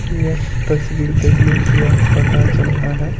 यह तस्वीर देखने से यह पता चल रहा है।